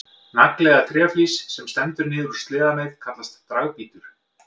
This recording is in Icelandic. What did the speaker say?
Nagli eða tréflís sem stendur niður úr sleðameið kallast dragbítur.